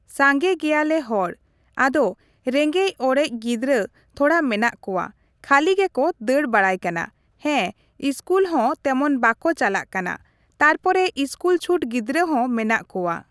ᱥᱟᱸᱜᱮ ᱜᱮᱭᱟ ᱞᱮ ᱦᱚ ᱲ᱾ ᱟᱫᱚ ᱨᱮᱸᱜᱮᱡᱼᱚᱨᱮᱡ ᱜᱤᱫᱽᱨᱟᱹ ᱛᱷᱚᱲᱟ ᱢᱮᱱᱟᱜ ᱠᱚᱣᱟ ᱾ ᱠᱷᱟᱹᱞᱤ ᱜᱮᱠᱚ ᱫᱟᱹᱲ ᱵᱟᱲᱟᱭ ᱠᱟᱱᱟ, ᱦᱮᱸ ᱤᱥᱠᱩᱞ ᱦᱚᱸ ᱛᱮᱢᱚᱱ ᱵᱟᱠᱚ ᱪᱟᱞᱟᱜ ᱠᱟᱱᱟ ᱾ ᱛᱟᱨᱯᱚᱨᱮ ᱤᱥᱠᱩᱞ ᱪᱷᱩᱴ ᱜᱤᱫᱽᱨᱟᱹ ᱦᱚᱸ ᱢᱮᱱᱟᱜ ᱠᱚᱣᱟ ᱾